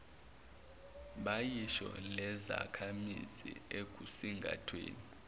bayiso lezakhamizi ekusingathweni